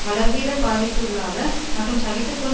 வளர்வீதப் பாதிப்புக்களாக மற்றும் சகித்து கொள்ள